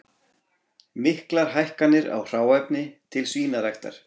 Miklar hækkanir á hráefni til svínaræktar